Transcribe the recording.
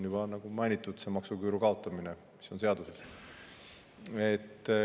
Juba mainitud maksuküüru kaotamine, mis on seaduses.